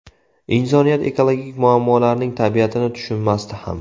Insoniyat ekologik muammolarning tabiatini tushunmasdi ham.